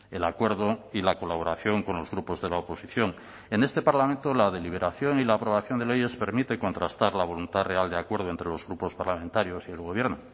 el acuerdo y la colaboración con los grupos de la oposición en este parlamento la deliberación y la aprobación de leyes permite contrastar la voluntad real de acuerdo entre los grupos parlamentarios y el gobierno